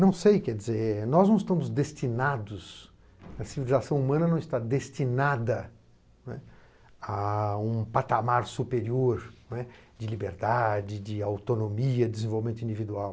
Não sei, quer dizer, nós não estamos destinados, a civilização humana não está destinada a um patamar superior de liberdade, de autonomia, desenvolvimento individual.